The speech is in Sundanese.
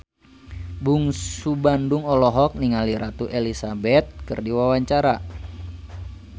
Bungsu Bandung olohok ningali Ratu Elizabeth keur diwawancara